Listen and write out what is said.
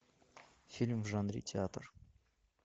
фильм в жанре театр